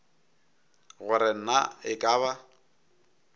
gore na e ka ba